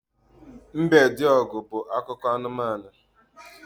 Mbediogu' bu akụkọ anumanu